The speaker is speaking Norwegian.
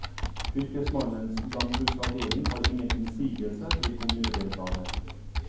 Fylkesmannens landbruksavdeling har ingen innsigelser til kommunedelplanen.